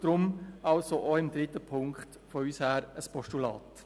Deshalb unterstützen wir auch von unserer Seite ein Postulat.